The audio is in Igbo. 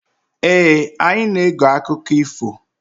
Ee, anyị na-ege akụkọ ifo.